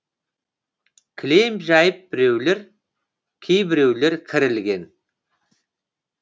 кілем жайып біреулер кейбіреулер кір ілген